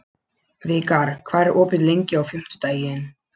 Vikar, hvað er opið lengi á fimmtudaginn?